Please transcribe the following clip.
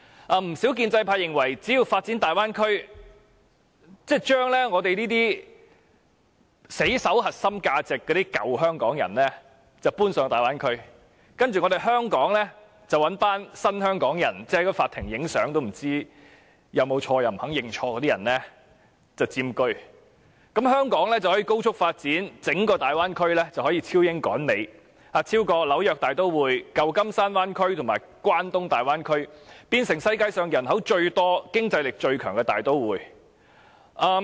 不少建制派議員認為，只要發展大灣區，將我們這些死守香港核心價值的舊香港人遷往大灣區，然後以"新香港人"——即在法庭拍照也不知道是否犯錯、不肯認錯的那些人——佔據香港，香港便可以高速發展，整個大灣區便可以超英趕美，超越紐約大都會、舊金山灣區和關東大灣區，成為世上人口最多、經濟力最強的大都會。